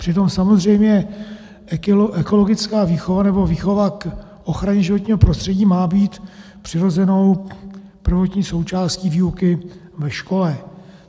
Přitom samozřejmě ekologická výchova, nebo výchova k ochraně životního prostředí, má být přirozenou prvotní součástí výuky ve škole.